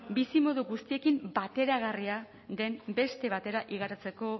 bizimodu guztiekin bateragarria den beste batera igarotzeko